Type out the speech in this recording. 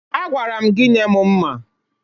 Agwara m gị nye m mma.